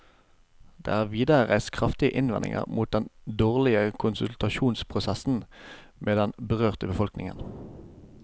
Det er videre reist kraftige innvendinger mot den dårlige konsultasjonsprosessen med den berørte befolkningen.